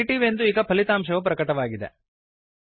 negative ಎಂದು ಈಗ ಫಲಿತಾಂಶವು ಪ್ರಕಟವಾಗಿದೆ